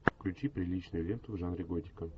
включи приличную ленту в жанре готика